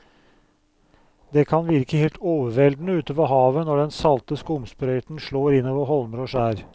Det kan virke helt overveldende ute ved havet når den salte skumsprøyten slår innover holmer og skjær.